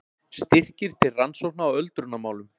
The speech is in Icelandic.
Styrkir til rannsókna í öldrunarmálum